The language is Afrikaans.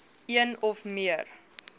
een of meer